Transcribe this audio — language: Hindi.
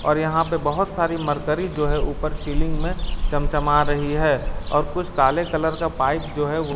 और यहां पर बहुत सारी मर्करी जो है ऊपर सीलिंग में चम चमा रही है और कुछ काले कलर का पाइप जो है--